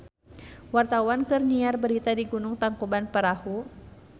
Wartawan keur nyiar berita di Gunung Tangkuban Perahu